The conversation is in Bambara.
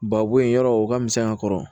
Ba bo yen yɔrɔ o ka misɛn a kɔrɔ